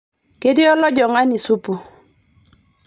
Ketii olojingani supu.